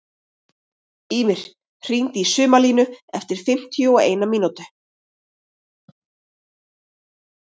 Ymir, hringdu í Sumarlínu eftir fimmtíu og eina mínútur.